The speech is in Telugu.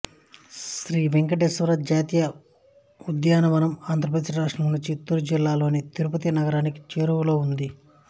శ్రీ వేంకటేశ్వర జాతీయ ఉద్యానవనం ఆంధ్రప్రదేశ్ రాష్ట్రంలోని చిత్తూరు జిల్లాలోని తిరుపతి నగరానికి చేరువలో ఉంది